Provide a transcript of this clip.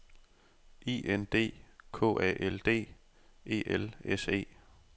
I N D K A L D E L S E